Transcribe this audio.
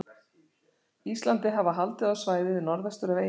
Íslandi, hafa haldið á svæðið norðvestur af eyjunni.